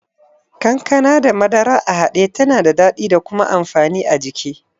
Kankana da madara a haɗe tana da daɗi da kuma amfani a jiki.